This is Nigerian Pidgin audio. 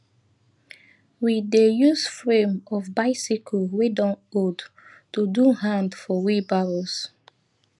we dey use frame of bicycle wey don old to do hand for wheelbarrows